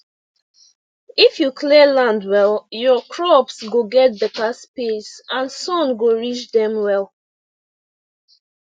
if you clear land well your crops go get better space and sun go reach dem well